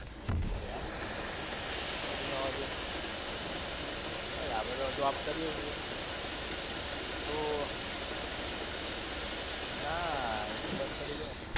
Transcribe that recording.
એવું છે એમ? કશું નવા-જૂની નહિ? બસ આપણે તો job કરીએ છે. આતો, ના, એ તો બંદ કરી દીધું ને.